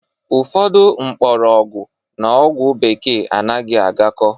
Ụfọdụ mkpọrọgwụ n'ogwu bekee anaghị agako